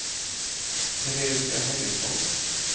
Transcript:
Teresia Henningsson